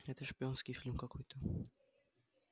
это шпионский фильм какой-то